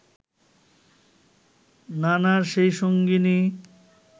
নানার সে সঙ্গিনী